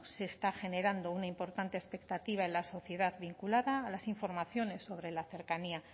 se está generando una importante expectativa en la sociedad vinculada a las informaciones sobre la cercanía